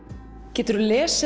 geturðu lesið